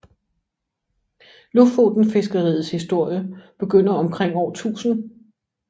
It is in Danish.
Lofotenfiskeriets historie begynder omkring år 1000